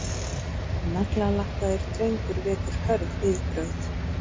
Naglalakkaður drengur vekur hörð viðbrögð